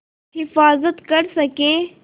हिफ़ाज़त कर सकें